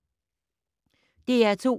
DR2